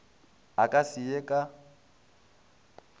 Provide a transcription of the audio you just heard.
a ka se ye ka